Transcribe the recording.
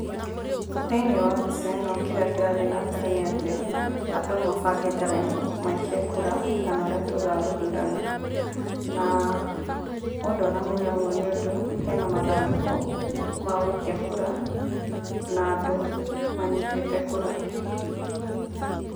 Thĩĩnĩĩ wa mbĩca ĩno kĩria kĩrathĩĩ na mbere nĩ atĩ andũ mabangĩte raĩnĩ maikie kura kana ũrĩa tũgaga gũthurana ,mũndũ aramenya ũguo nĩundũ hena mathandũkũ magũikia kura na andũ manyitĩte kura.